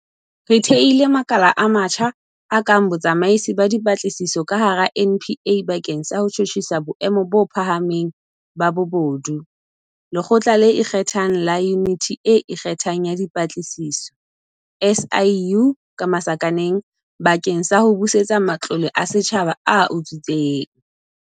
Re thehile makala a matjha, a kang Botsamaisi ba Dipa tlisiso ka hara NPA bakeng sa ho tjhutjhisa boemo bo pha hameng ba bobodu, Lekgotla le Ikgethang la Yuniti e Ikge thang ya Dipatlisiso, SIU, bakeng sa ho busetsa matlole a setjhaba a utswitsweng.